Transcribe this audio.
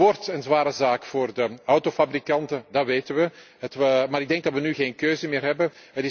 staan. Dat wordt een zware zaak voor de autofabrikanten, dat weten we, maar ik denk dat we nu geen keuze meer